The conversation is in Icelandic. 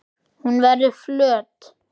Hún verður flöt.